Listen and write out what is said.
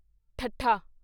ਠੱਠਾ